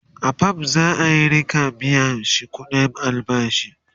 a fam za'a Rika biyashi ƙuɗin albashi